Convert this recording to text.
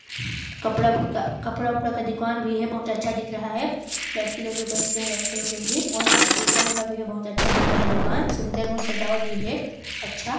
कपड़ा कपड़ा उपड़ा का दुकान भी हैं बहुत अच्छा दिख रहा हैं लड़की लोग भी पहनते हैं लड़के लोग भी शीशा उषा भी बहुत अच्छा दिख रहा हैं दुकान सुंदर और सजावट भी है अच्छा--